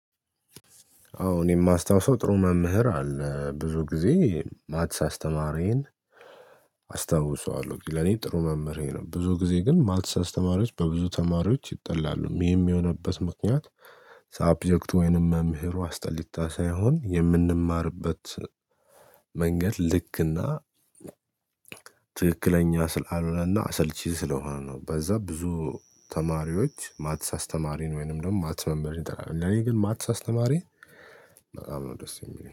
አዎ እኔ የማስታውሰው ጥሩ መምህር አለ ብዙ ጊዜ ማትስ አስተማሪዬን አስታውሰዋለሁ ለኔ ጥሩ መምህሬ ነው። ብዙ ጊዜ ግን ማልተሳሰት ተማሪዎች በብዙ ተማሪዎች ይጠላሉ ይህም የሚሆንበት ምክንያት። ሳብጀክቱ ወይንም መምህሩ አስጠሊታ ሳይሆን የምንማርበት መንገድ ልክና ትክክለኛ ስላልሆነና አሰልቺ ስለሆነ ነው። በዛ ብዙ ተማሪዎች ማትስ አስተማሪን ወይንም ደግሞ ማትስ መንበርን ይጠራል። ለኔ ግን ማትስ አስተማሪ በጣም ደስ የሚለኝ